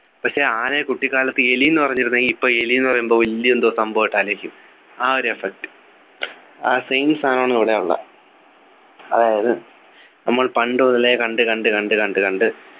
പക്ഷെ ആനയെ കുട്ടിക്കാലത്തു എലി ന്നു പറഞ്ഞിരുന്നെങ്കി ഇപ്പൊ എലി ന്നു പറയുമ്പോ വലിയ എന്തോ സംഭവായിട്ട് ആലോചിക്കും ആ ഒരു effect ആ same സാധനമാണ് ഇവിടെ ഉള്ളെ അതായത് നമ്മൾ പണ്ടുമുതലേ കണ്ട് കണ്ട് കണ്ട് കണ്ടു കണ്ട്